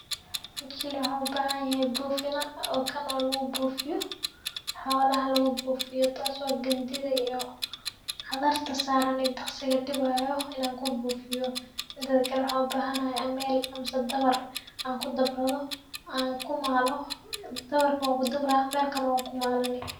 Waxaa ubhanyahay bufinaa oo kan oo lagubufiyo xolaha lagubufiyo tas oo gandida iyo xadarta saran iyo daqsiga dibayo in an kabufiyo , midikale waxaan ubahanahay amel iyo dabar, dabarka wankudabraah , amelkana wankumalani.